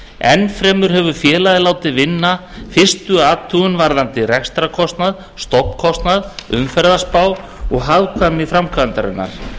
enn fremur hefur félagið látið vinna fyrstu athugun varðandi rekstrarkostnað stofnkostnað umferðarspá og hagkvæmni framkvæmdarinnar